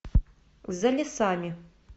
за лесами